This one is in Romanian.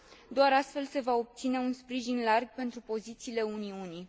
Doar astfel se va obține un sprijin larg pentru pozițiile Uniunii.